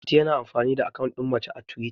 mati yana amfani da akawun din mace a twita